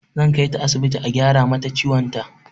Zan kaita asibiti a gyara mata ciwon ta.